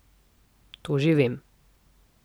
To že vem.